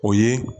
O ye